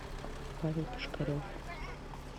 павел пушкарев